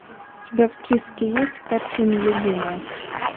у тебя в списке есть картина любимая